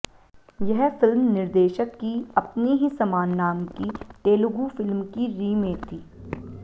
यह फिल्म निर्देशक की अपनी ही समान नाम की तेलुगू फिल्म की रीमेक थी